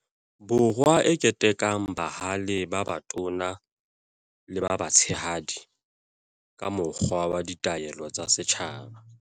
Borwa e ketekang bahale ba batona le ba batshehadi ka mokgwa wa Ditaelo tsa Setjhaba.